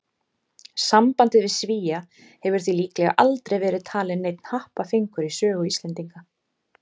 Sambandið við Svía hefur því líklega aldrei verið talinn neinn happafengur í sögu Íslendinga.